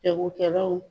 Jagokɛlaw